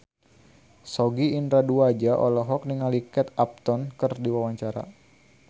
Sogi Indra Duaja olohok ningali Kate Upton keur diwawancara